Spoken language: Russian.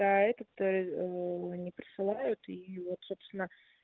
а этот ээ не присылают и вот собственно